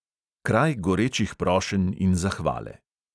Kraj gorečih prošenj in zahvale.